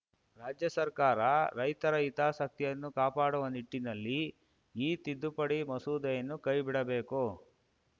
ರಾಜ್ಯ ಸರ್ಕಾರ ರೈತರ ಹಿತಾಸಕ್ತಿಯನ್ನು ಕಾಪಾಡುವ ನಿಟ್ಟಿನಲ್ಲಿ ಈ ತಿದ್ದುಪಡಿ ಮಸೂದೆಯನ್ನು ಕೈಬಿಡಬೇಕು